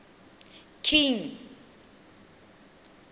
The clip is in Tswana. king